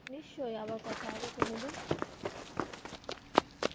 নিশ্চয়ই আবার কথা হবে কোনোদিন.